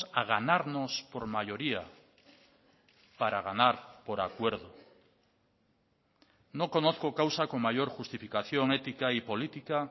a ganarnos por mayoría para ganar por acuerdo no conozco causa con mayor justificación ética y política